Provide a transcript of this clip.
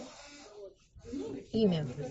имя